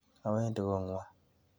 Awendi kang'wong'.